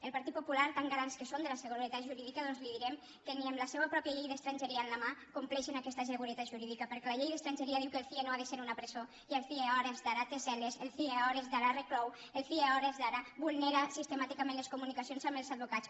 al partit popular tan garants que són de la seguretat jurídica doncs li direm que ni amb la seua pròpia llei d’estrangeria a la mà compleixen aquesta seguretat jurídica perquè la llei d’estrangeria diu que el cie no ha de ser una presó i el cie a hores d’ara té cel·les el cie a hores d’ara reclou el cie a hores d’ara vulnera sistemàticament les comunicacions amb els advocats